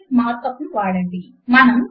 ఇప్పుడు మరొక సమీకరణముల సెట్ ను వ్రాద్దాము